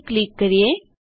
પછી ક્લિક કરીએ